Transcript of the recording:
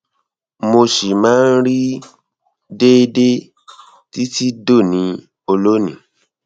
mo ṣì máa ń rí i déédéé um títí dòní olónìí